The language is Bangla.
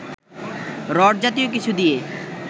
রড জাতীয় কিছু দিয়ে